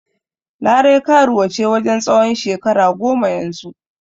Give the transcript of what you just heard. Larai karuwa ce wajen tsawon shekara goma yanzu.